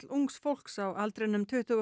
ungs fólks á aldrinum tuttugu og